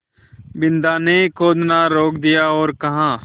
बिन्दा ने खोदना रोक दिया और कहा